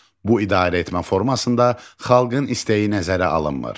Bu idarəetmə formasında xalqın istəyi nəzərə alınmır.